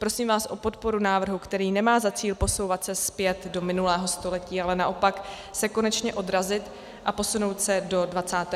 Prosím vás o podporu návrhu, který nemá za cíl posouvat se zpět do minulého století, ale naopak se konečně odrazit a posunout se do 21. století.